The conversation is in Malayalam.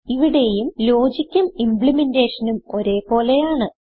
ഇവിടെയും ലോജിക്കും ഇംപ്ലിമെന്റെഷനും ഒരേ പോലെയാണ്